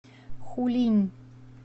хулинь